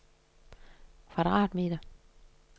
kvadratmeter